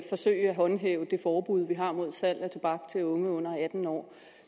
håndhæve det forbud der er mod salg af tobak til unge under atten år